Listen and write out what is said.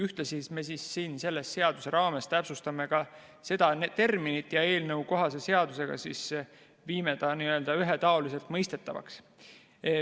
Me täpsustame selle seaduse raames seda terminit ja teeme ta ühetaoliselt mõistetavaks.